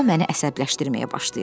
O məni əsəbləşdirməyə başlayırdı.